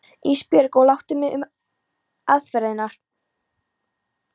Ísbjörg og láttu mig um aðferðirnar.